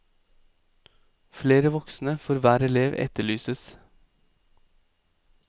Flere voksne for hver elev etterlyses.